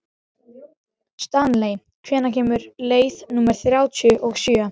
Stanley, hvenær kemur leið númer þrjátíu og sjö?